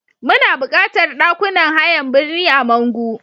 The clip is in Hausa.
Muna buƙatar ɗakunan hayan birni a Mangu.